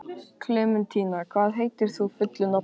Klementína, hvað heitir þú fullu nafni?